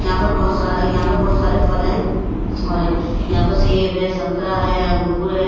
यहां पर बहुत सारा यहां पर बहुत सारे फल हैं और यहां पर सेब है संतरा है अंगूर है।